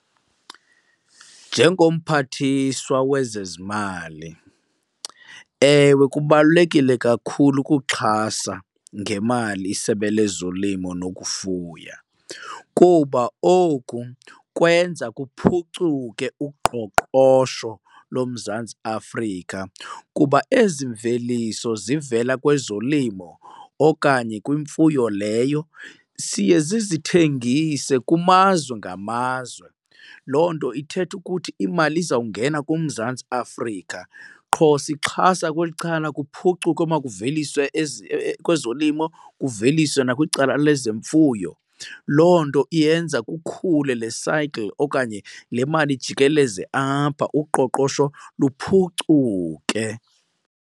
NjengoMphathiswa wezeZimali, ewe, kubalulekile kakhulu ukuxhasa ngemali isebe lezolimo nokufuya kuba oku kwenza kuphucuke uqoqosho loMzantsi Afrika kuba ezi mveliso zivela kwezolimo okanye kwimfuyo leyo siye sizithengise kumazwe ngamazwe. Loo nto ithetha ukuthi imali izawungena kuMzantsi Afrika qho sixhasa kweli cala, kuphucuke omakuveliswe kwezolimo kuveliswe nakwicala lezemfuyo. Loo nto iyenza kukhule le cycle okanye le mali ijikeleze apha uqoqosho luphucuke.